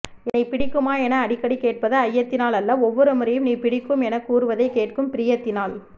என்னைப் பிடிக்குமா என அடிக்கடிக் கேட்பது ஐயத்தினாலல்ல ஒவ்வொரு முறையும் நீ பிடிக்கும் எனக்கூறுவதைக் கேட்கும் ப்ரியத்தினால்